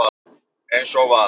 eins og var.